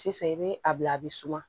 Sisan i bɛ a bila a bɛ suma